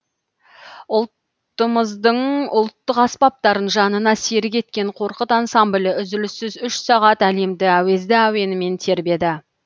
ұлтымыздың ұлттық аспаптарын жанына серік еткен қорқыт ансамблі үзіліссіз үш сағат әлемді әуезді әуенімен тербеді